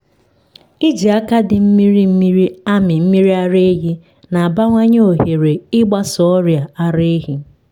iji aka dị mmiri mmiri amị mmiri ara ehi na-abawanye ohere ịgbasa ọrịa ara ehi.